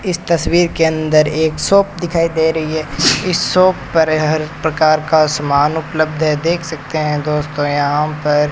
इस तस्वीर के अंदर एक शॉप दिखाई दे रही है इस शॉप पर हर प्रकार का सामान उपलब्ध है देख सकते हैं दोस्तों यहां पर।